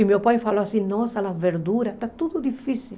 E meu pai falou assim, nossa, as verduras, está tudo difícil.